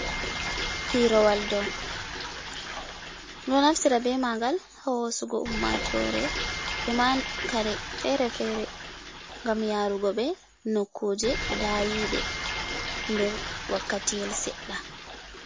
Pirowal dou, ɗum ɗo naftira be magal hosugo ummatore e man kare fere-fere gam yarugo ɓe nokkuje dayiɗe nder wakkati yel seɗɗa.